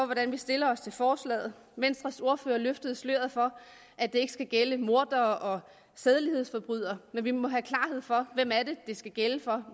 hvordan vi stiller os til forslaget venstres ordfører løftede sløret for at det ikke skal gælde mordere og sædelighedsforbrydere men vi må have klarhed for hvem det skal gælde for